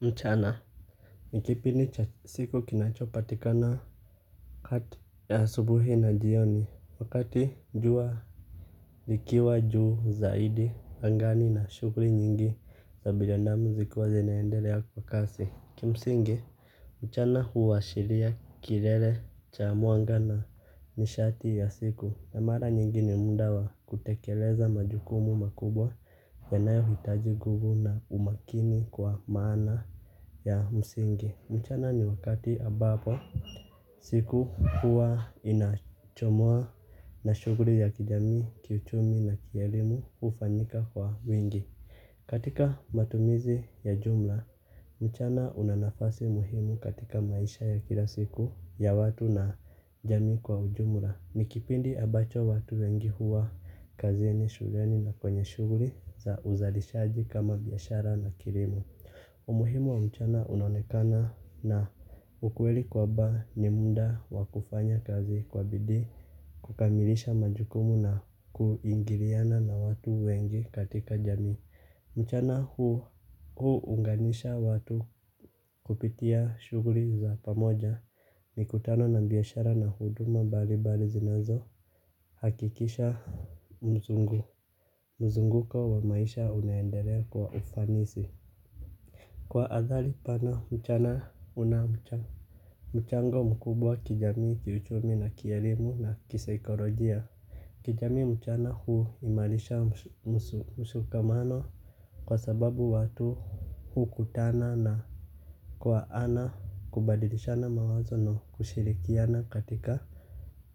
Mchana. Nikipindicha siku kinachopatika na kati ya asubuhi na jioni wakati jua likiwa juu zaidi angani na shughuli nyingi za binadamu zikiwa zinaendelea kwa kasi. Kimsingi mchana huashiria kilele cha mwangana ni shati ya siku. Na mara nyingi ni muda wa kutekeleza majukumu makubwa yanayo hitaji nguvu na umakini kwa maana ya msingi. Mchana ni wakati ambapo siku huwa inachomoa. Na shughuli ya kijamii, kiuchumi na kielimu hufanyika kwa wingi. Katika matumizi ya jumla mchana unanafasi muhimu katika maisha ya kila siku ya watu na jamii kwa ujumla. Nikipindi ambacho watu wengi huwa kazini, shuleni na kwenye shughuli za uzalishaji kama biashara na kilimo. Umuhimu wa mchana unaonekana na ukweli kwa mba ni muda wakufanya kazi kwa bidii. Kukamilisha majukumu na kuingiliana na watu wengi katika jamii. Mchana huu unganisha watu kupitia shughuli za pamoja mikutano na biashara na huduma mbali mbali zinazo. Hakikisha mzungu. Mzunguko wa maisha unaendelea kwa ufanisi. Kwa athari pana mchana unamchango. Mchango mkubwa kijamii kiuchumi na kielimu na kisaikolojia. Kijamii mchana huu imarisha mshikamano kwa sababu watu huu kutana ana kwa ana kubadilishana mawazo na kushirikiana katika